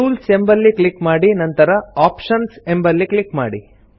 tools ಎಂಬಲ್ಲಿ click ಮಾಡಿ ನಂತರ ಆಪ್ಷನ್ಸ್ ಎಂಬಲ್ಲಿ ಕ್ಲಿಕ್ ಮಾಡಿ